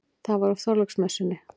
Það var á Þorláksmessunni.